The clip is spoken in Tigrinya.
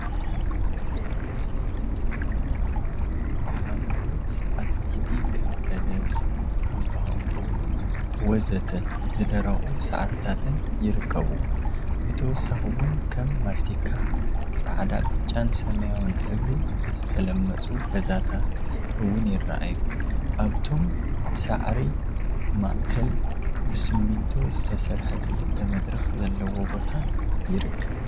አብዚ ምስሊ እንሪኦም ዘለና ሓምለዎት አትክልቲ ከም በለስ፣ ሃምቦሃምቦ ወዘተ ዝደረቁ ሳዕሪታትን ይርከቡዎም፡፡ ብተወሳኪ እውን ከም ማስቲካ፣ ፃዕዳ፣ ብጫን ሰማያዊን ሕብሪ ዝተለመፁ ገዛታት እውን ይረአዩ፡፡ አብቶም ሳዕሪታት ማከል ብስሚንቶ ዝተሰርሐ ክልተ መድረክ ዘለዎ ቦታ ይርከብ፡፡